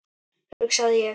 hugsaði ég.